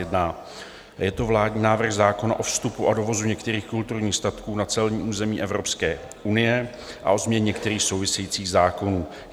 Je to vládní návrh zákona o vstupu a dovozu některých kulturních statků na celní území Evropské unie a o změně některých souvisejících zákonů.